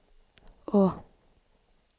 å